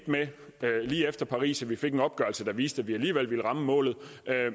lige efter paris med at vi fik en opgørelse der viste at vi alligevel ville ramme målet